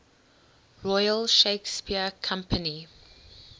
royal shakespeare company